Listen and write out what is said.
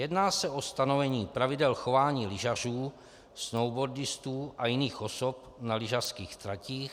Jedná se o stanovení pravidel chování lyžařů, snowboardistů a jiných osob na lyžařských tratích.